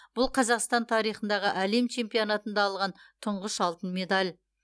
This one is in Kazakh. бұл қазақстан тарихындағы әлем чемпионатында алған тұңғыш алтын медаль